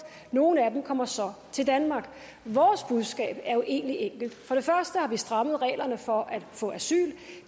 nogle af dem kommer så til danmark vores budskab er jo egentlig enkelt for det første har vi strammet reglerne for at få asyl